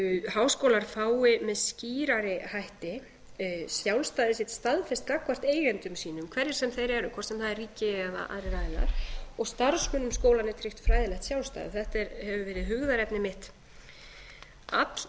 háskólar fái með skýrari hætti sjálfstæði sitt staðfest gagnvart eigendum sínum hverjir sem þeir eru hvort sem það er ríki eða aðrir aðilar og starfsmönnum skólanna er tryggt fræðilegt sjálfstæði þetta hefur verið hugðarefni mitt alllengi þannig